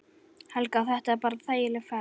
Helga: Þetta bara þægileg ferð?